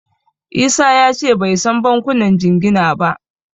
Isa ya ce bai san bankunan jingina ba.